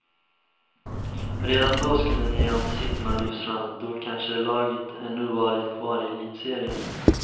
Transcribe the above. Redan då skulle nya ansikten ha lyfts fram, då kanske laget ännu varit kvar i elitserien.